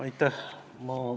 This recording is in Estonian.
Aitäh!